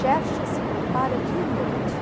Xerxes se prepara dia e noite.